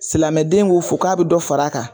Silamɛden ko fo k'a bɛ dɔ far'a kan.